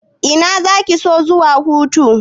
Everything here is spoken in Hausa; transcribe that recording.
Ina zaki so zuwa hutu?